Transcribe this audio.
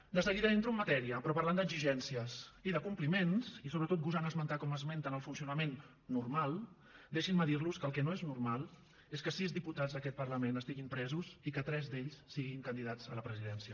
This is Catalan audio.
de seguida entro en matèria però parlant d’exigències i de compliments i sobretot gosant esmentar com esmenten el funcionament normal deixin me dir los que el que no és normal és que sis diputats d’aquest parlament estiguin presos i que tres d’ells siguin candidats a la presidència